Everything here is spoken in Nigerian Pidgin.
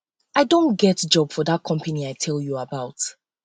i don get job for dat company i um tell you tell you about